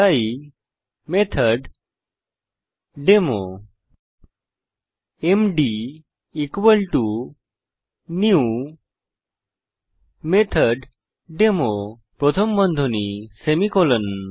তাই method demo MD new method demo প্রথম বন্ধনী সেমিকোলন